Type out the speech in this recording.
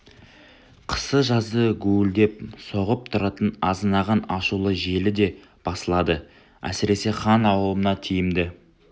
қысы-жазы гуілдеп соғып тұратын азынаған ашулы желі де басылады әсіресе хан аулына тиімді